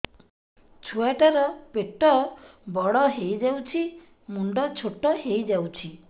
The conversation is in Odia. ଛୁଆ ଟା ର ପେଟ ବଡ ହେଇଯାଉଛି ମୁଣ୍ଡ ଛୋଟ ହେଇଯାଉଛି